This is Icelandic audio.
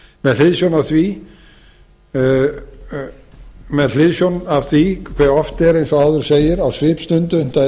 með hliðsjón af því hve oft er eins og áður segir á svipstundu unnt að eyða og koma